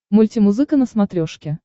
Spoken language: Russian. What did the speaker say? мультимузыка на смотрешке